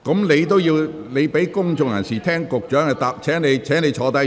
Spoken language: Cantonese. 你應先讓公眾人士聆聽局長的答覆，請坐下。